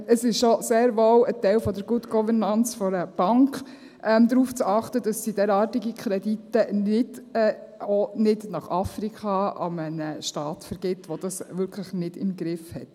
Es ist auch sehr wohl ein Teil der Good Governance einer Bank, darauf zu achten, dass sie derartige Kredite nicht, auch nicht nach Afrika, an einen Staat vergibt, der es in dem Sinn wirklich nicht im Griff hat.